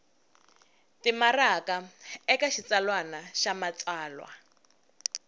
timaraka eka xitsalwana xa matsalwa